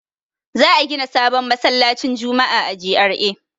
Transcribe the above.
Za a gida sabon masallacin juma'a a GRA.